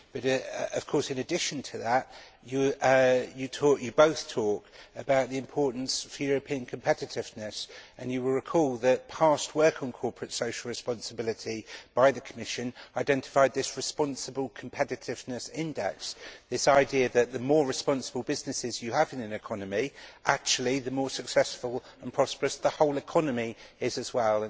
But in addition to that, you both talk about its importance for European competitiveness and you will recall that past work on corporate social responsibility by the Commission identified the responsible competitiveness index the idea that the more responsible businesses you have in an economy the more successful and prosperous the whole economy is as well.